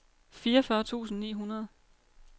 fireogfyrre tusind ni hundrede